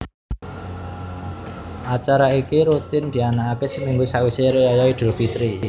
Acara iki rutin dianakake seminggu sawise riyaya idul fitri